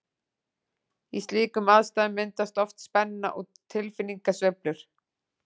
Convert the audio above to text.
Í slíkum aðstæðum myndast oft spenna og tilfinningasveiflur.